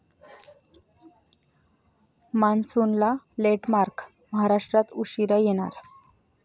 मान्सूनला लेटमार्क, महाराष्ट्रात उशिरा येणार!